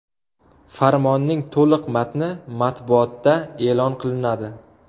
Farmonning to‘liq matni matbuotda e’lon qilinadi.